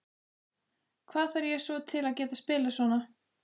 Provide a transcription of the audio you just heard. Hvað þarf ég svo til að geta spilað svona?